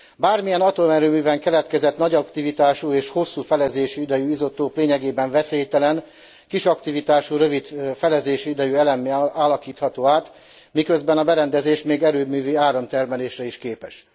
Bármilyen atomerőműben keletkezett nagy aktivitású és hosszú felezési idejű izotóp lényegében veszélytelen kis aktivitású, rövid felezési idejű elemmé alakítható át, miközben a berendezés még erőművi áramtermelésre is képes.